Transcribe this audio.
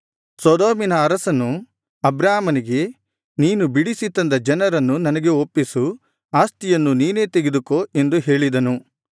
ಸೊದೋಮಿನ ಅರಸನು ಅಬ್ರಾಮನಿಗೆ ನೀನು ಬಿಡಿಸಿ ತಂದ ಜನರನ್ನು ನನಗೆ ಒಪ್ಪಿಸು ಆಸ್ತಿಯನ್ನು ನೀನೇ ತೆಗೆದುಕೋ ಎಂದು ಹೇಳಿದನು